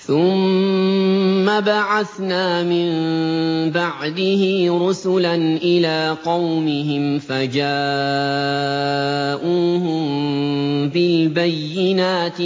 ثُمَّ بَعَثْنَا مِن بَعْدِهِ رُسُلًا إِلَىٰ قَوْمِهِمْ فَجَاءُوهُم بِالْبَيِّنَاتِ